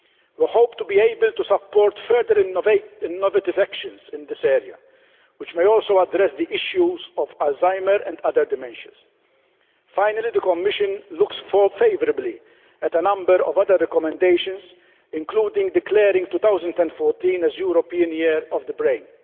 We hope to be able to support further innovative actions in this area which may also address the issues of Alzheimer's and other dementias. Finally, the Commission looks favourably at a number of other recommendations, including declaring 2014 as European Year of the Brain.